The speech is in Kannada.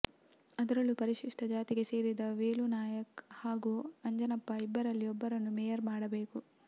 ಅದರಲ್ಲೂ ಪರಿಶಿಷ್ಟ ಜಾತಿಗೆ ಸೇರಿದ ವೇಲು ನಾಯಕ್ ಹಾಗೂ ಅಂಜನಪ್ಪ ಇಬ್ಬರಲ್ಲಿ ಒಬ್ಬರನ್ನು ಮೇಯರ್ ಮಾಡಬೇಕು